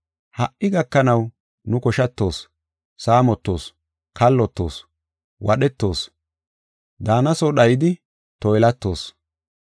Ha77i gakanaw nu koshatoos, saamotoos, kallotoos, wadhetoos; daana soo dhaydi toylatoos.